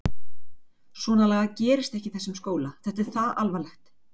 Svonalagað gerist ekki í þessum skóla, þetta er það alvarlegt!